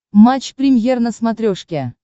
матч премьер на смотрешке